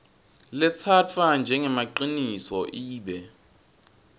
letsatfwa njengemaciniso ibe